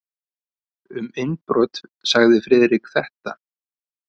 Um innbrot sagði Friðrik þetta: